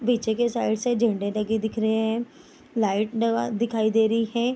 पीछे के साइड से झंडे लगे दिख रहे है लाइट दिखाई दे रही है।